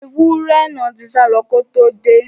Ẹwúrẹ́ náà tí sálọ ko tó dé.